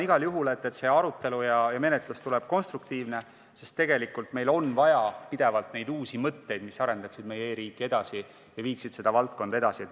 Igal juhul ma loodan, et see arutelu ja menetlus tuleb konstruktiivne, sest tegelikult on meil pidevalt vaja uusi mõtteid, mis arendaksid meie e-riiki ja viiksid seda valdkonda edasi.